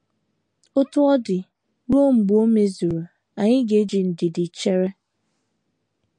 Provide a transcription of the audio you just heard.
Otú ọ dị, ruo mgbe o mezuru, anyị ga - eji ndidi chere.